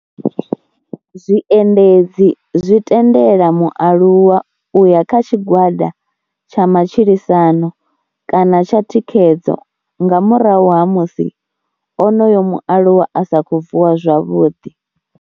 Zwiendedzi zwi tendela mualuwa u ya kha tshigwada tsha matshilisano kana tsha thikhedzo nga murahu ha musi onoyo mualuwa a sa khou vuwa zwavhuḓi.